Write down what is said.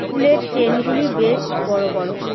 ফুলের চেইনগুলি বেশ বড় বড়।